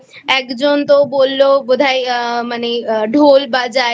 একজন তো বলল বোধহয় মানে ঢোল বাজায়।